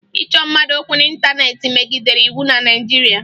Ịchọ mmadụ okwu n'ịntaneetị megidere iwu na Naịjirịa